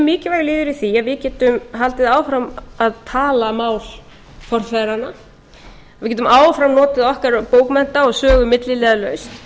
mikilvægur liður í því að við getum haldið áfram að tala mál forfeðranna við getum áfram notið okkar bókmennta og sögu milliliðalaust